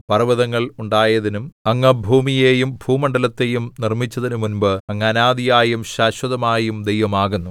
പർവ്വതങ്ങൾ ഉണ്ടായതിനും അങ്ങ് ഭൂമിയെയും ഭൂമണ്ഡലത്തെയും നിർമ്മിച്ചതിനും മുൻപ് അങ്ങ് അനാദിയായും ശാശ്വതമായും ദൈവം ആകുന്നു